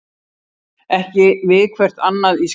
Af hverju keppa karlar og konur ekki við hvert annað í skák?